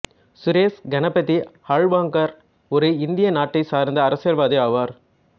சுரேஷ் கணபதி ஹால்வங்கார் ஒரு இந்திய நாட்டை சாா்ந்த அரசியல்வாதி ஆவாா்